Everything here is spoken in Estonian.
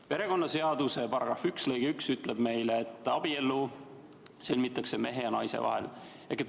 Perekonnaseaduse § 1 lõige 1 ütleb meile, et abielu sõlmitakse mehe ja naise vahel.